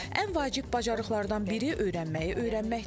Ən vacib bacarıqlardan biri öyrənməyi öyrənməkdir.